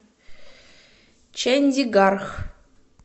чандигарх